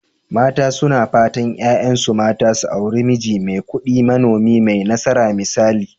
Mata suna fatan 'ya'yansu mata su auri miji mai kudi, manomi mai nasara misali.